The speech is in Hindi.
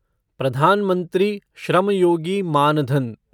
प्रधान मंत्री श्रम योगी मान धन